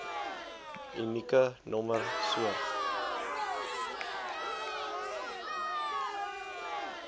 unieke nommer soort